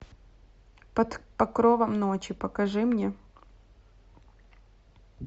под покровом ночи покажи мне